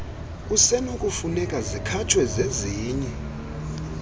kusenokufuneka zikhatshwe zezinye